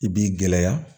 I b'i gɛlɛya